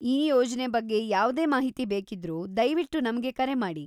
ಈ ಯೋಜ್ನೆ ಬಗ್ಗೆ ಯಾವ್ದೇ ಮಾಹಿತಿ ಬೇಕಿದ್ರೂ ದಯ್ವಿಟ್ಟು ನಮ್ಗೆ ಕರೆಮಾಡಿ.